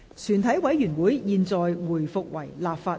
全體委員會現在回復為立法會。